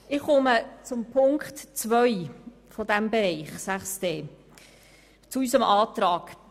Ich komme zu unserem Antrag zu Ziffer 2.